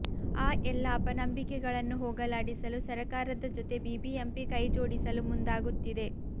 ಆ ಎಲ್ಲ ಅಪನಂಬಿಕೆಗಳನ್ನು ಹೋಗಲಾಡಿಸಲು ಸರಕಾರದ ಜೊತೆ ಬಿಬಿಎಂಪಿ ಕೈ ಜೋಡಿಸಲು ಮುಂದಾಗುತ್ತಿದೆ